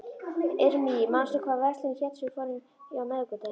Irmý, manstu hvað verslunin hét sem við fórum í á miðvikudaginn?